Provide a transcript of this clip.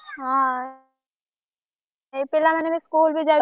ହଁ ଏଇ ପିଲା ମାନେ ବି school ବି ଯାଇପାରୁନାହାନ୍ତି।